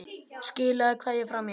Skilaðu kveðju frá mér.